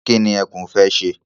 Kí ni ẹkún fẹ́ ṣe?